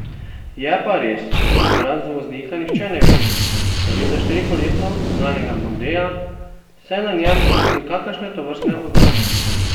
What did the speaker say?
Je pa res, da razen voznika nihče ne ve, da gre za štirikolesno gnanega mondea, saj na njem ni nikakršne tovrstne oznake.